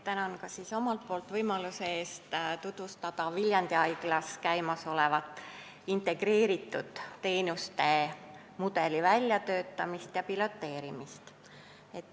Tänan ka siis omalt poolt võimaluse eest tutvustada Viljandi Haiglas käimas olevat integreeritud teenuste mudeli väljatöötamist ja piloteerimist.